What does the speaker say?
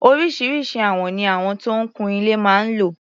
Oríṣiríṣi àwọn ni àwọn tó ń kun ilé máa ń lò.